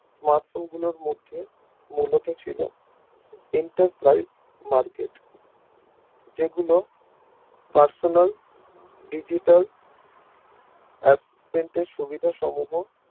Smartphone গুলোর মধ্যে মূলত ছিল Enterprise market যেগুলো Personal digital সুবিধা সমূহ